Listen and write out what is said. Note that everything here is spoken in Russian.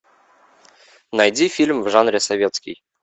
найди фильм в жанре советский